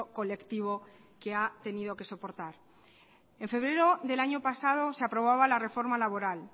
colectivo que ha tenido que soportar en febrero del año pasado se aprobaba la reforma laboral